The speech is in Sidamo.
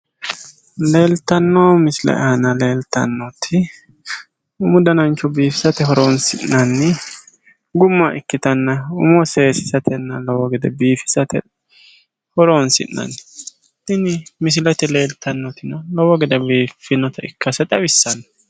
Leeltanno missile aana leeltannoti umu danacho biifisate horonsi'nanni gumma ikkitanna umo seesiisatenna lowo gede biifisate horonsi'nanni tini misilete leeltannoti lowo gede biiffinota ikkase xawissanno.